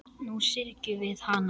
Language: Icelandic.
Nú syrgjum við hana.